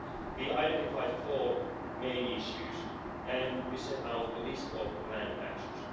We identified four main issues and we set out a list of planned actions.